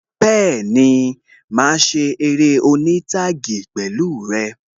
Bẹẹni, máa ṣe eré oní taagi pẹ̀lú rẹ